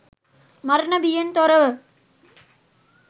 මරණ බියෙන් තොරව